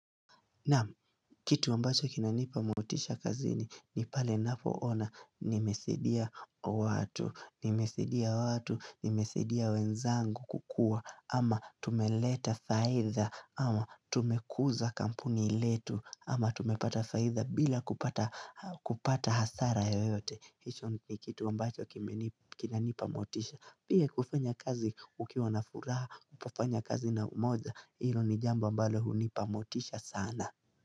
Naam, kitu ambacho kinanipa motisha kazini ni pale nafoona nimesaidia watu, nimesaidia watu, nimesaidia wenzangu kukua ama tumeleta faidha ama tumekuza kampuni letu ama tumepata faidha bila kupata hasara yoyote. Hicho ni kitu ambacho kinanipa motisha Pia kufanya kazi ukiwa na furaha kufanya kazi na umoja Hilo ni jambo ambalo hunipa motisha sana.